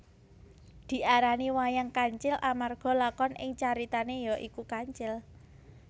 Diarani wayang kancil amarga lakon ing caritane ya iku kancil